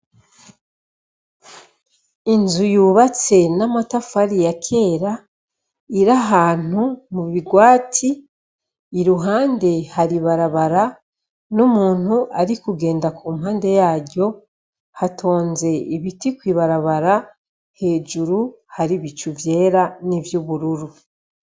Inzu yubatse n'amatafari yakera, ir' ahantu mubigwati, iruhande har' ibarabara, n' umunt' arikugenda kumpande yaryo, hatonz' ibiti kw ibarabara, hejuru har' ibicu vyera n' ivyubururu.